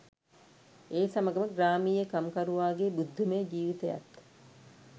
ඒ සමඟම ග්‍රාමීය කම්කරුවාගේ බුද්ධිමය ජිවිතයත්